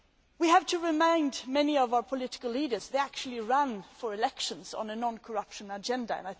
We have to remind many of our political leaders that they actually ran for election on a non corruption agenda.